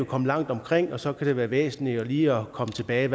komme langt omkring og så kan det være væsentligt lige at komme tilbage